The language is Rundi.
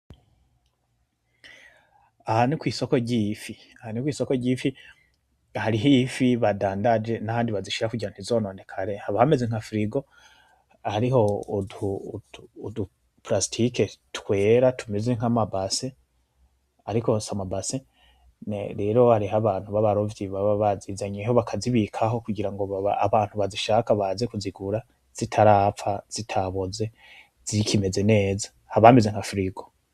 Aha nikwisoko ry'ifi, aha ni kwisoko ry'ifi, hariho ifi badandaje nahandi bazishira kugira ntizononekare, haba hameze nka firigo hariho udu plastike twera tumeze nkamabassin, ariko si amabassin, rero hari abantu babarovyi baba bazizanyeho baka ziterekaho kugira abantu bazishaka baze kuzigura zitarapfa, zitaboze zikimeze neza haba hameze nka firigo.